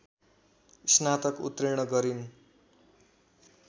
स्नातक उत्तीर्ण गरिन्।